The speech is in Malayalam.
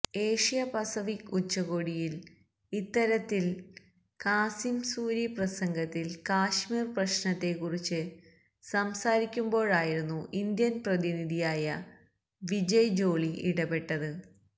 ഏഷ്യ പസഫിക് ഉച്ചകോടിയിയില് ഇത്തരത്തില് കാസിം സൂരി പ്രസംഗത്തിൽ കശ്മീർ പ്രശ്നത്തെക്കുറിച്ച് സംസാരിക്കുമ്പോഴായിരുന്നു ഇന്ത്യന് പ്രതിനിധിയായ വിജയ് ജോളി ഇടപെട്ടത്